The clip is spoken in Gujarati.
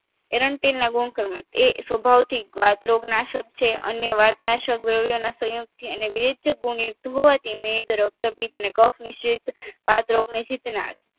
એરચરી ના ગુણકર્મ એ સ્વભાવથી ગાંતરોગ નાસક છે અને વાતનાસક થી દ્રવ્ય ના સંયુક્ત થી અને વેચગુણયુક્ત હોવાથી મેદ રક્તપિત્ત અને કફની સીત વતરોગની સિતનાટ